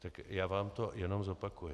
Tak já vám to jenom zopakuji.